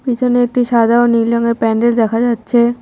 পিছনে একটি সাদা ও নীল রঙের প্যান্ডেল দেখা যাচ্ছে।